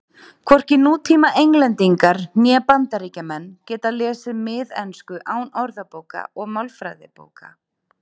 hvorki nútíma englendingar né bandaríkjamenn geta lesið miðensku án orðabóka og málfræðibóka